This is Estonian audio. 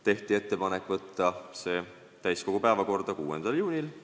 Tehti ettepanek saata eelnõu täiskogu päevakorda 6. juuniks.